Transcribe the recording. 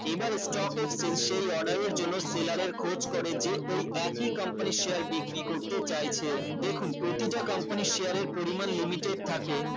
এইবার stock exchange সেই order এর জন্য seller এর খোঁজ করে যে ওই একই company এর share বিক্রি করতে চাইছে দেখুন প্রতিটা company এর share এর পরিমান limited থাকে